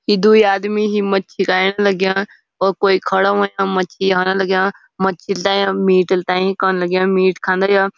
यी द्वि आदमी ही मच्छी खैण लग्याँ और कोए खड़ा हुयां मच्छी खाना लग्याँ मच्छी ले मीटिल तै कण लग्याँ मीट खानदा या --